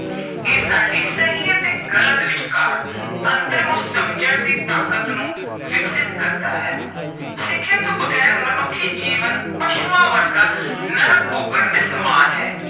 ਇਹ ਸਾਡੀ ਸਹੀ ਅਤੇ ਗਲਤ ਵਿਚਕਾਰ ਅੰਤਰ ਨੂੰ ਸਮਝਣ ਦੀ ਤਾਕਤ ਨੂੰ ਵਿਕਸਿਤ ਕਰਦਾ ਹੈ। ਸਿੱਖਿਆ ਤੋਂ ਬਗੈਰ ਮਨੁੱਖੀ ਜੀਵਨ ਪਸ਼ੂਆਂ ਵਰਗਾ ਨਰਕ ਭੋਗਣ ਦੇ ਸਮਾਨ ਹੈ।